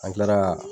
An kilara